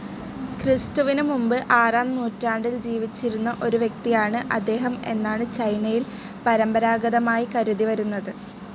ക്രിസ്തുവിന് മുൻപ് ആറാം നൂറ്റാണ്ടിൽ ജീവിച്ചിരുന്ന ഒരു വ്യക്തിയാണ് അദ്ദേഹം എന്നാണ് ചൈനയിൽ പരമ്പരാഗതമായി കരുതിവരുന്നത്.